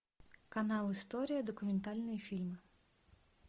канал история документальные фильмы